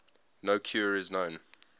no cure is known